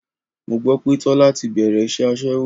Mo gbọ́ pé Tọ́lá ti bẹ̀rẹ̀ iṣẹ́ aṣẹ́wó.